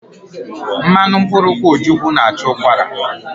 Mmanụ mkpụrụ nkwụ́ ojukwu na-achụ ụkwara.